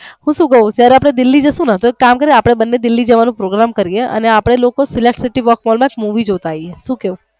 હું સુ ક્વ જયારે અપડે દિલ્હી જાસુ ને તો એક કામ કર ને આપડે બને દિલ્હી જવાનું પ્રોગ્રામ કરીયે અને અપડે લોકો select city work mall માં movie જોતા આવી